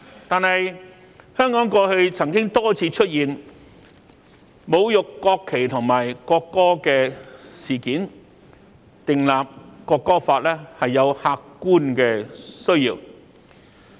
但是，香港過去曾多次出現侮辱國旗和國歌的事件，《國歌法》立法是有客觀的需要。